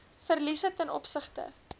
verliese ten opsigte